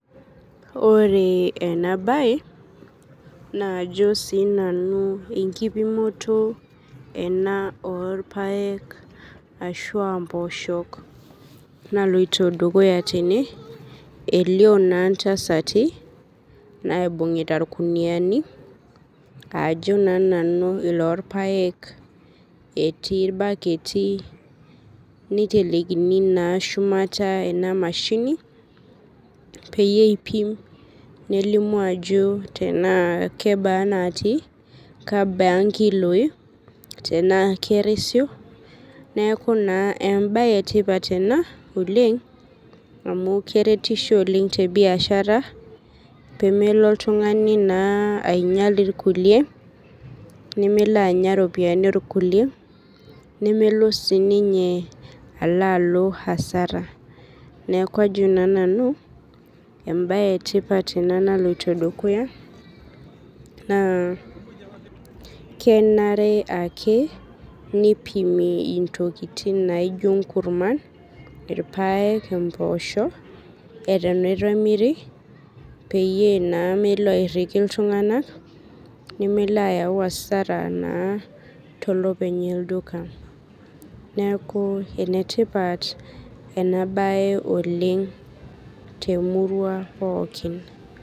Oree enabaye naajo siinanu enkipimoto ena orpaek ashuaa mpooshok naloito dukuya tene. Elio naa ntasati naibung'ita ilkuniani, aajo naa nanu iloorpaek. Etii ilbaketi neitelekini naa shumata ena  mashini peyie eipim nelimu ajo tenaa kebaa natii, kebaa nkiloi tenaa kerisio neaku naa embaye etipat ena oleng' amu keretisho oleng' tebiashara peemelo oltung'ani naa ainyal ilkulie, nemelo anya iropiani olkulie nemelo siininye aloalo hasara neaku ajo naa nanu embaye etipat ena naloito dukuya naa kenare ake neipimi intokitin naaijo inkurman, irpaek, empoosho eton eitu emiri peyie naa melo airriki iltung'ana nemeloayau hasara naa tolopeny olduka. Neaku enetipat ena baye oleng' temurua pookin.